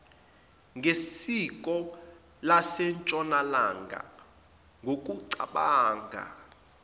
ngesiko lasentshonalanga ngokucabanga